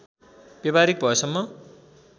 व्यावहारिक भएसम्म